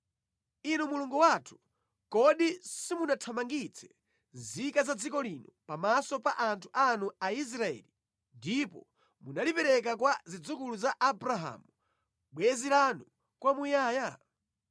Inu Mulungu wathu, kodi simunathamangitse nzika za dziko lino pamaso pa anthu anu Aisraeli ndipo munalipereka kwa zidzukulu za Abrahamu bwenzi lanu kwamuyaya?